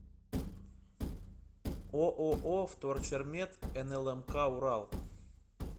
ооо вторчермет нлмк урал